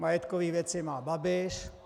Majetkové věci má Babiš.